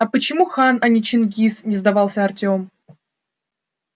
а почему хан а не чингиз не сдавался артём